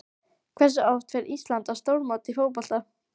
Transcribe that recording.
Hversu oft fer Ísland á stórmót í fótbolta?